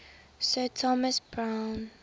sir thomas browne